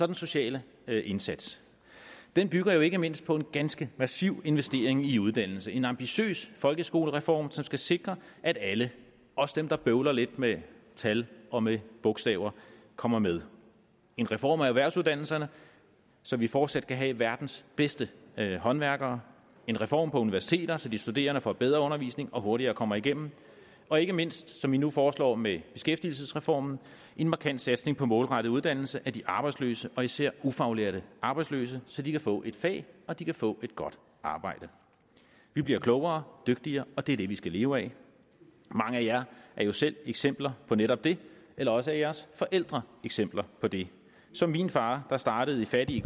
den sociale indsats den bygger ikke mindst på en ganske massiv investering i uddannelse en ambitiøs folkeskolereform som skal sikre at alle også dem der bøvler lidt med tal og med bogstaver kommer med en reform af erhvervsuddannelserne så vi fortsat kan have verdens bedste håndværkere en reform på universiteter så de studerende får bedre undervisning og hurtigere kommer igennem og ikke mindst som vi nu foreslår med beskæftigelsesreformen en markant satsning på målrettet uddannelse af de arbejdsløse og især ufaglærte arbejdsløse så de kan få et fag og de kan få et godt arbejde vi bliver klogere dygtigere og det er det vi skal leve af mange af jer er jo selv eksempler på netop det eller også er jeres forældre eksempler på det som min far der startede i fattige